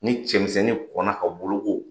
Ni cɛmisɛnnin kɔnna ka boloko